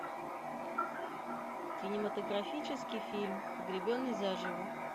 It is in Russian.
кинематографический фильм погребенный зажио